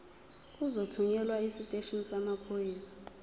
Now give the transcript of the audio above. uzothunyelwa esiteshini samaphoyisa